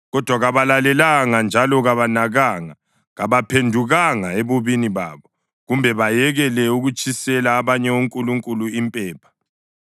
Kodwa kabalalelanga njalo kabanakanga; kabaphendukanga ebubini babo kumbe bayekele ukutshisela abanye onkulunkulu impepha.